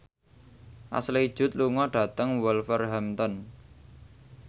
Ashley Judd lunga dhateng Wolverhampton